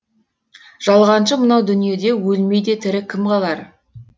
жалғаншы мынау дүниеде өлмей де тірі кім қалар